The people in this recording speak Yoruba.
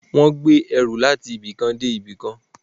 Wọ́n ń gbé ẹrù láti ibi kan dé ibi kan